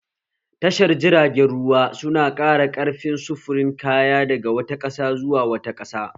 Tashar jiragen ruwa su na ƙara ƙarfin sufurin kaya daga wata ƙasa zuwa wata ƙasa